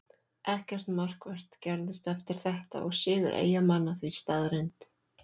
Ekkert markvert gerðist eftir þetta og sigur Eyjamanna því staðreynd.